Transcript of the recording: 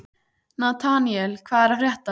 Nataníel, hvað er að frétta?